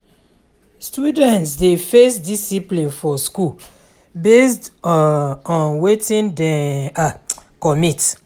student dey face discipline for school based on wetin dey um comit